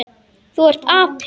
Þú ert api.